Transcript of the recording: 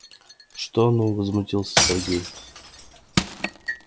что ну возмутился сергей